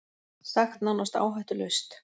Sagt nánast áhættulaust